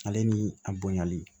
Ale ni a bonyali